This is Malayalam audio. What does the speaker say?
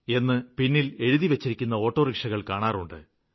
എന്ന് പിന്നില് എഴുതിവെച്ചിരിക്കുന്ന ഓട്ടോറിക്ഷകള് കാണാറുണ്ട്